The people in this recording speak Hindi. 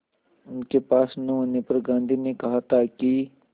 उनके पास न होने पर गांधी ने कहा था कि